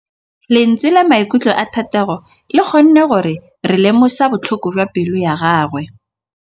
Lentswe la maikutlo a Thategô le kgonne gore re lemosa botlhoko jwa pelô ya gagwe.